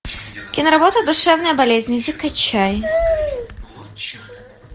киноработа душевная болезнь закачай